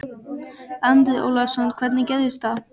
Andri Ólafsson: Hvernig gerðist það?